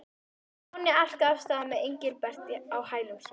Stjáni arkaði af stað með Engilbert á hælum sér.